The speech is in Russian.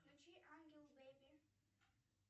включи ангел бэби